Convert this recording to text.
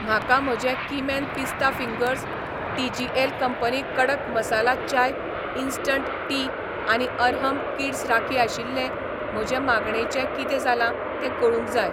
म्हाका म्हजे कीमॅन पिस्ता फिंगर्स, टि.जी.एल कंपनी कडक मसाला चाय इंस्टंट टी आनी अरहम किड्स राखी आशिल्ले म्हजे मागणेंचें कितें जालां तें कळूंक जाय.